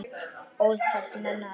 Ólíkt hafast menn að.